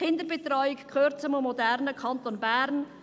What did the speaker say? Kinderbetreuung gehört zu einem modernen Kanton Bern;